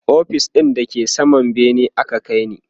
ofis ɗin da ke saman bene aka kaini